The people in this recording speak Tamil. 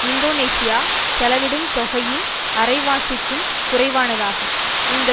இந்தோனேஷியா செலவிடும் தொகையின் அரைவாசிக்கும் குறைவானதாகும் இந்த